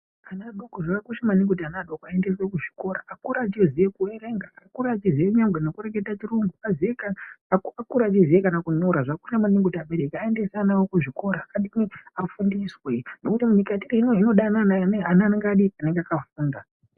Ana adoko zviya ,zvakakosha kuti ana adoko aendeswe kuzvikora akure echiziye kuerenga ,akure achiziye kana nekurekete chirungu ,akure achiziye kanankunyora zvako zvako .Abereki ngaaendese ana awo kuzvikora adini ? Afundiswe ,ngendaa yekuti nyika ineyi yode ana akadii ?Anenge akafunda.